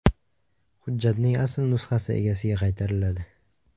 Hujjatning asl nusxasi egasiga qaytariladi.